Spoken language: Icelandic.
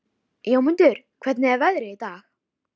Jónmundur, hvernig er veðrið í dag?